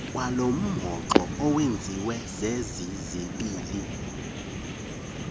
kwalomhoxo owenziwe zezizibini